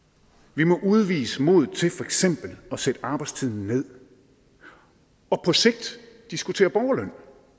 vi må udvise modet til for eksempel at sætte arbejdstiden ned og på sigt diskutere borgerløn